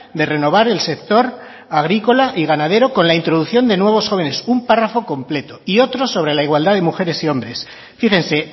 de renovar el sector agrícola y ganadero con la introducción de nuevos jóvenes un párrafo completo y otro sobre la igualdad de mujeres y hombres fíjense